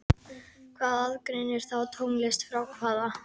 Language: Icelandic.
Hvað aðgreinir þá tónlist frá hávaða?